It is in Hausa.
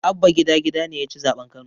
Abba gida gida ne yaci zaɓen kano